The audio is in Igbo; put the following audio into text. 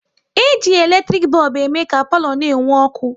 E ji eletrik bọlbụ ème ka palo na-enwu ọkụ